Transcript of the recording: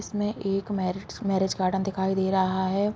इसमें एक marriage marriage garden दिखाई दे रहा है।